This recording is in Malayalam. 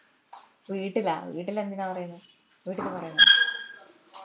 വീട്ടിലാ വീട്ടിലെന്തിനാ പറേന്ന് വീട്ടിൽ പറയുവോന്നും വേണ്ട